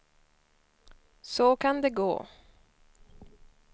Så kan det gå!